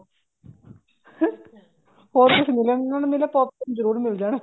ਹੋਰ ਕੁੱਛ ਮਿਲੇ ਨਾ ਮਿਲੇ pop corn ਜਰੁਰ ਮਿਲ ਜਾਣ